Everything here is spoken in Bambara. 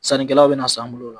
Sannikɛlaw be na san an bolo o la.